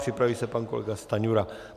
Připraví se pan kolega Stanjura.